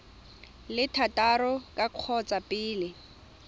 le thataro ka kgotsa pele